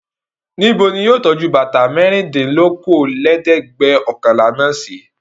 Níbo ni yóò tọ́jú bàtà mẹ́rìndínlókòólẹ́ẹ̀dẹ́gbẹ̀ọ̀kànlá náà sí?